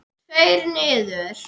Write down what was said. Tveir niður.